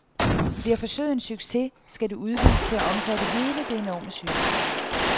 Bliver forsøget en succes, skal det udvides til at omfatte hele det enorme sygehus.